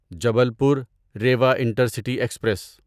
Jabalpur Rewa intercity express